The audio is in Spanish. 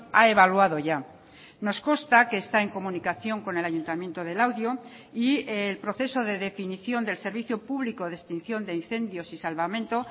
ha evaluado ya nos consta que está en comunicación con el ayuntamiento de laudio y el proceso de definición del servicio público de extinción de incendios y salvamento